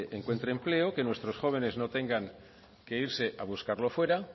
encuentre empleo que nuestros jóvenes no tengan que irse a buscarlo fuera